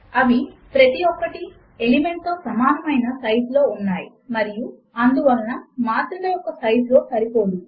అవి ప్రతి ఒక్కటి ఎలిమెంట్ తో సమానము అయిన సైజ్ లో ఉన్నాయి మరియు అందువలన మాత్రిక యొక్క సైజులో సరిపోదు